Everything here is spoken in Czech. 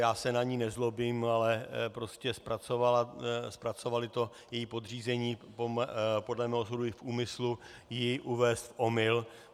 Já se na ni nezlobím, ale prostě zpracovali to její podřízení podle mého soudu i v úmyslu ji uvést v omyl.